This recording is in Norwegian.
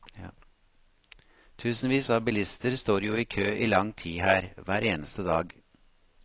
Tusenvis av bilister står jo i kø i lang tid her, hver eneste dag.